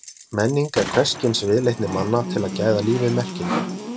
Menning er hvers kyns viðleitni manna til að gæða lífið merkingu.